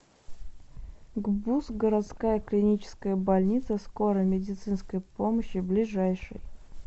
гбуз городская клиническая больница скорой медицинской помощи ближайший